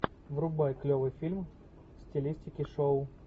врубай клевый фильм в стилистике шоу